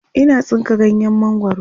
Ina tsinka ganyen mangwaro